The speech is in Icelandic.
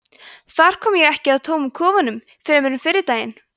þar kom ég ekki að tómum kofanum fremur en fyrri daginn